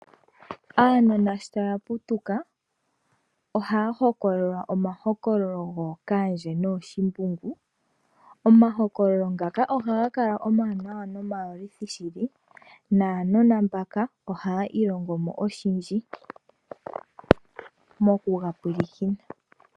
Aanona shotaya putuka ohaya hokololelwa omahokololo gookaandje nooshimbungu, omahokololo ngaka ohaga kala omawanawa noma yolithi shili, naanona mbaka ohaya ilongomo oshindji mokuga mpwilikina.